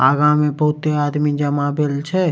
आगा मे बहूते आदमी जमा भेल छे।